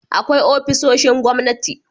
Akwai ofisoshin gwamnati